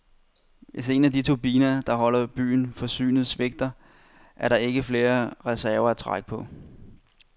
Hvis en af de turbiner, der nu holder byen forsynet, svigter, er der ikke flere reserver at trække på.